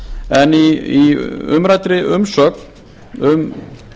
en í umræddri umsögn um